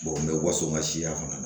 n bɛ waso ma siya fana